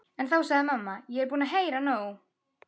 En þá sagði mamma: Ég er búin að heyra nóg!